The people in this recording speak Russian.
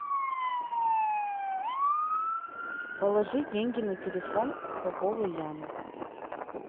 положи деньги на телефон поповой яны